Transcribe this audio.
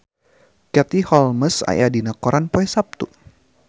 Katie Holmes aya dina koran poe Saptu